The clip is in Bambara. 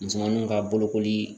Musomaninw ka bolokoli